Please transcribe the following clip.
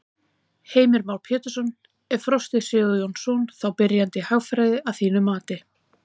Heimir Már Pétursson: Er Frosti Sigurjónsson þá byrjandi í hagfræði að þínu mati?